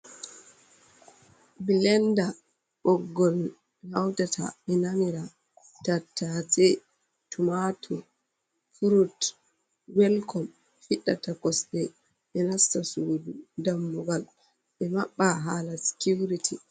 Blenda boggol hautata ɓe namira tatace, tomatur, frut, welkom fiddata kosɗe ɓe nasta sudu, dammugal ɓe maɓɓa hala sicurity.